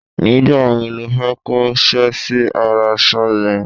nígbà wo lo fẹ́ kó ṣẹ́ sí ara aṣọ yẹn?